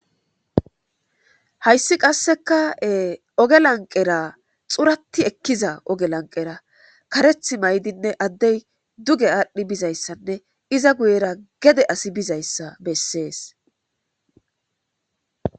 Hayis qaseka oge laniqera xurati ekiza karethi ma'idinee adey duge adhi bidayisanee iza guyera gede asi bizayisa beses